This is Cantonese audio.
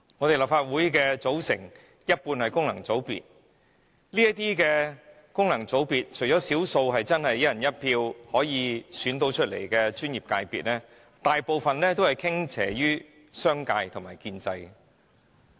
立法會有一半議席是功能界別議席，當中除少數專業界別議席由"一人一票"選出外，其他大部分均向商界和建制傾斜。